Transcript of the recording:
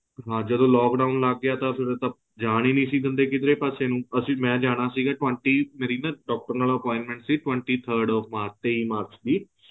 ਹਾਂ ਜਦੋਂ lock down ਲੱਗ ਗਿਆ ਤਾਂ ਫੇਰ ਇਹ ਤਾਂ ਜਾਨ ਹੀ ਨਹੀਂ ਦਿੰਦੇ ਸੀ ਕਿਦਰੇ ਪਾਸੇ ਨੂੰ ਅਸੀਂ ਮੈਂ ਜਾਣਾ ਸੀਗਾ twenty ਮੇਰੀ ਨਾ doctor ਨਾਲ appointment ਸੀ twenty third of ਮਾਰਚ ਤਈ ਮਾਰਚ ਦੀ